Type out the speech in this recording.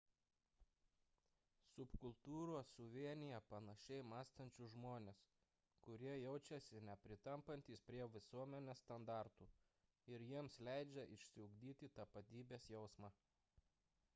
subkultūros suvienija panašiai mąstančius žmones kurie jaučiasi nepritampantys prie visuomenės standartų ir jiems leidžia išsiugdyti tapatybės jausmą